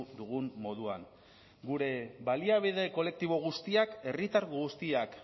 dugun moduan gure baliabide kolektibo guztiak herritar guztiak